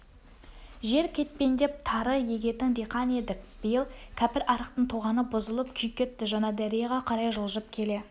жер кетпендеп тары егетін диқан едік биыл кәпірарықтың тоғаны бұзылып күй кетті жаңадарияға қарай жылжып келе